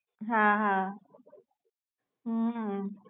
હા હા હમ